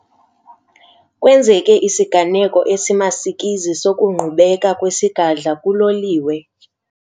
Kwenzeke isiganeko esimasikizi sokungqubeka kwesigadla kuloliwe.